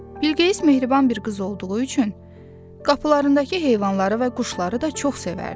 Bilqeyis mehriban bir qız olduğu üçün qapılarındakı heyvanları və quşları da çox sevərdi.